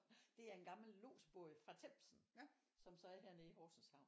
Det er en gammel lodsbåd fra Themsen som så er hernede i Horsens havn